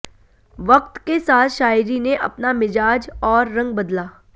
वक्त के साथ शायरी ने अपना मिजाज और रंग बदला